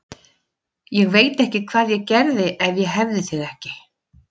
Ég veit ekki hvað ég gerði ef ég hefði þig ekki.